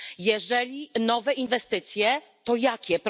Jeżeli nowe inwestycje, to jakie?